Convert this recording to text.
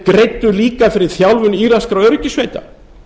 greiddu líka fyrir þjálfun írakskra öryggissveita